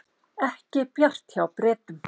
Ekki bjart hjá Bretum